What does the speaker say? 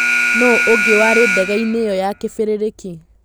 Nũ ũngĩ warĩ ndegeinĩ ĩyo ya kĩbĩrĩrĩki.